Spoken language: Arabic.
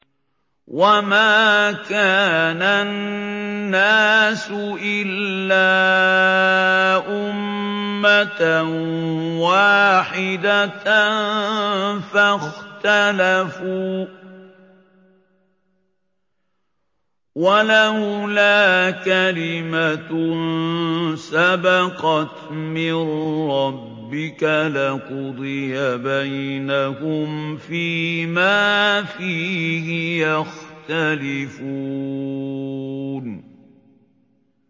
وَمَا كَانَ النَّاسُ إِلَّا أُمَّةً وَاحِدَةً فَاخْتَلَفُوا ۚ وَلَوْلَا كَلِمَةٌ سَبَقَتْ مِن رَّبِّكَ لَقُضِيَ بَيْنَهُمْ فِيمَا فِيهِ يَخْتَلِفُونَ